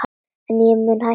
En ég mun hætta því.